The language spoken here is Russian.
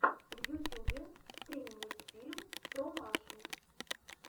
в ютьюбе стрим мультфильм про машу